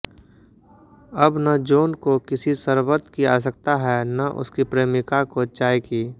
अब न जा॓न को किसी शरबत की आवश्यकता है न उसकी प्रेमिका को चाय की